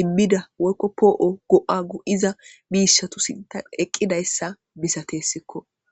immida woykko poo7o go7a gu iza biishatusinta eqqidayssa misatessikko